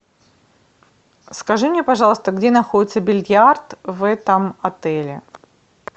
скажи мне пожалуйста где находится бильярд в этом отеле